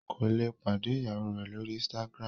Kole pàdé ìyàwó rẹ l'ori Instagram.